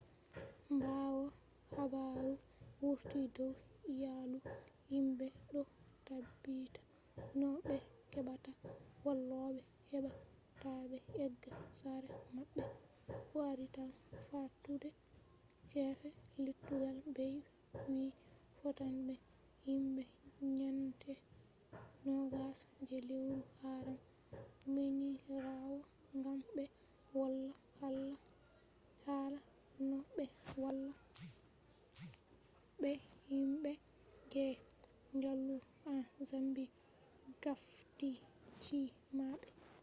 ɓawo habaru wurti dow iyalu himɓe ɗo ɗaɓɓita no ɓe heɓata walloɓe heɓa ta ɓe egga sare maɓɓe kwarital fattude gefe lettugal bey wi fottan be himɓe nyande 20 je lewru haram minirawo gam ɓe wola hala no ɓe walla be himɓe je jaalu en zambi gafti chi’e maɓɓe